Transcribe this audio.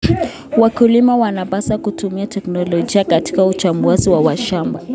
Wakulima wanapaswa kutumia teknolojia katika uchambuzi wa mashamba.